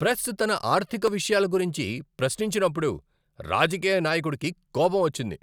Press తన ఆర్థిక విషయాల గురించి ప్రశ్నించినప్పుడు రాజకీయ నాయకుడుకి కోపం వచ్చింది.